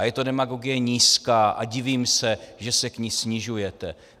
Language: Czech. A je to demagogie nízká a divím se, že se k ní snižujete.